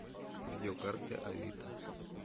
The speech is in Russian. видеокарты авито